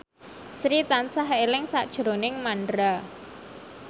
Sri tansah eling sakjroning Mandra